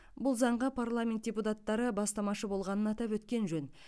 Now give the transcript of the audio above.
бұл заңға парламент депутаттары бастамашы болғанын атап өткен жөн